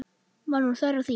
Var nú þörf á því?